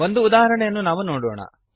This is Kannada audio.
ಒಂದು ಉದಾಹರಣೆಯನ್ನು ನಾವು ನೋಡೋಣ